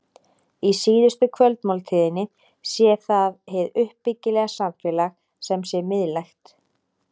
Í síðustu kvöldmáltíðinni sé það hið uppbyggilega samfélag sem sé miðlægt.